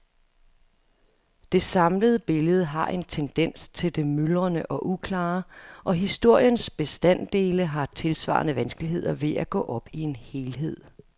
Det samlede billede har en tendens til det myldrende og uklare, og historiens bestanddele har tilsvarende vanskeligheder ved at gå op i en helhed.